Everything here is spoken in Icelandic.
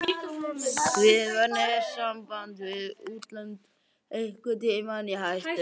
Var netsamband við útlönd einhvern tímann í hættu?